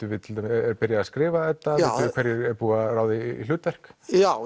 er byrjað að skrifa þetta er búið að ráða í hlutverk já